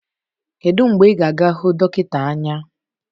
Kedu mgbe ị ga-aga hụ dọkịta anya?